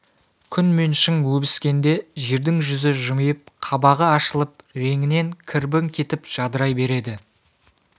күн мен шың өбіскенде жердің жүзі жымиып қабағы ашылып реңінен кірбің кетіп жадырай береді